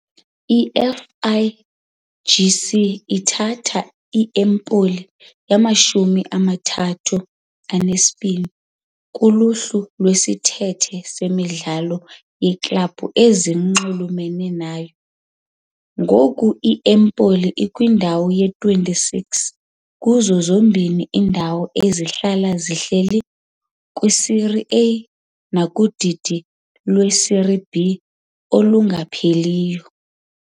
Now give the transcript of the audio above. I- FIGC ithatha i-Empoli yamashumi amathathu anesibini kuluhlu lwesithethe semidlalo yeeklabhu ezinxulumene nayo. Ngoku i-Empoli ikwindawo yama-26 kuzo zombini iindawo ezihlala zihleli kwiSerie A nakudidi lweSerie B olungapheliyo.